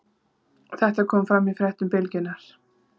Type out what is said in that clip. Þetta kom fram í fréttum Bylgjunnar